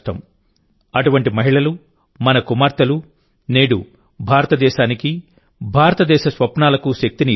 అటువంటి మహిళలు మన కుమార్తెలునేడు భారతదేశానికి భారతదేశస్వప్నాలకు శక్తిని ఇస్తున్నారు